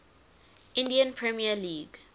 indian premier league